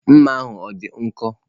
Mma ahụ ọ dị nkọ?